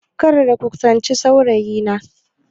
Kar ku kusanci saurayina!